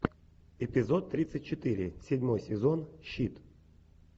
эпизод тридцать четыре седьмой сезон щит